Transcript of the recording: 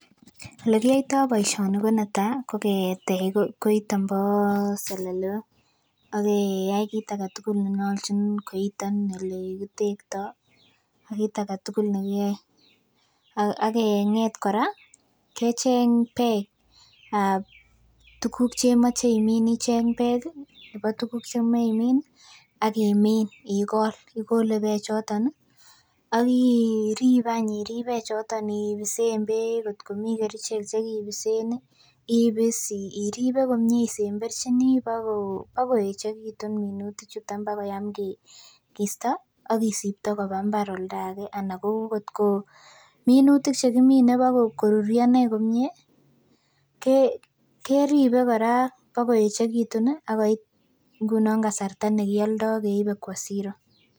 Elekiyoitoo boisioni ko netaa ko ketech koiton bo selelok ak keyai kit aketugul nenyolchin koiton elekitektoo ak kiit aketugul nekiyoe ak keng'et kora kecheng beek ab tuguk chemoche imin icheng beek ih nebo tuguk chemoe imin ih akimin ikol, ikole beek choton ih ak irib irib beek choton ibisen beek kotkomii kerichek chekibisen ih, ibis iribe komie isemberchini bako bakoechekitun minutik chuton bakoyam kisto ak kisipto koba mbar oldage anan ko ngotko minutik chekimine bakoruryo inei komie, keribe kora bakoechekitun ih akoit ngunon kasarta nekioldoo keibe kwo Siro.